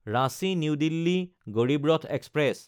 Ranchi New Delhi Garib Rath express